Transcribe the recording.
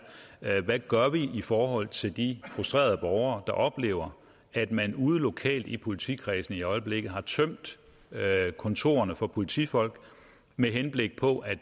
er hvad gør vi i forhold til de frustrerede borgere der oplever at man ude lokalt i politikredsene i øjeblikket har tømt kontorerne for politifolk med henblik på at